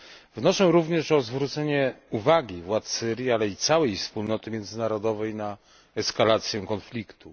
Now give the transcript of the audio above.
Wnoszę również o zwrócenie uwagi władz Syrii, ale i całej wspólnoty międzynarodowej na eskalację konfliktu.